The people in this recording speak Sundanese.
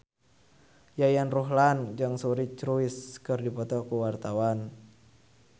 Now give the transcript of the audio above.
Yayan Ruhlan jeung Suri Cruise keur dipoto ku wartawan